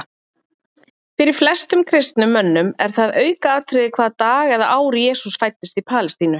Fyrir flestum kristnum mönnum er það aukaatriði hvaða dag eða ár Jesús fæddist í Palestínu.